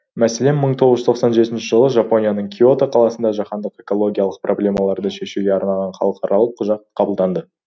мәселен мың тоғыз жүз тоқсан жетінші жылы жапонияның киото қаласында жаһандық экологиялық проблемаларды шешуге арналған халықаралық құжат қабылданды